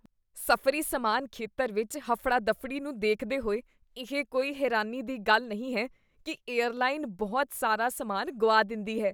ਸਫ਼ਰੀ ਸਮਾਨ ਖੇਤਰ ਵਿੱਚ ਹਫੜਾ ਦਫੜੀ ਨੂੰ ਦੇਖਦੇ ਹੋਏ, ਇਹ ਕੋਈ ਹੈਰਾਨੀ ਦੀ ਗੱਲ ਨਹੀਂ ਹੈ ਕੀ ਏਅਰਲਾਈਨ ਬਹੁਤ ਸਾਰਾ ਸਮਾਨ ਗੁਆ ਦਿੰਦੀ ਹੈ